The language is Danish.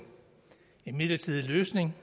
midlertidig løsning